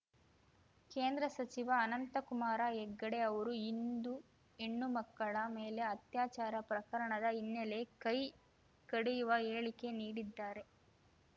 ಕೇಂದ್ರ ಸಚಿವ ಅನಂತಕುಮಾರ ಹೆಗಡೆ ಅವರು ಹಿಂದೂ ಹೆಣ್ಣು ಮಕ್ಕಳ ಮೇಲೆ ಅತ್ಯಾಚಾರ ಪ್ರಕರಣದ ಹಿನ್ನೆಲೆ ಕೈ ಕಡಿಯುವ ಹೇಳಿಕೆ ನೀಡಿದ್ದಾರೆ